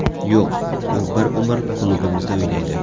Yo‘q, u bir umr klubimizda o‘ynaydi.